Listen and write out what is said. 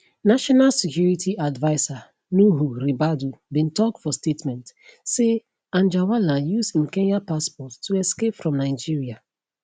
national security adviser nuhu ribadu bin tok for statement say anjarwalla use im kenyan passport to escape from nigeria